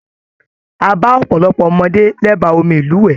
A ba ọpọlọpọ ọmọdé l'ẹba omi ilúwẹ.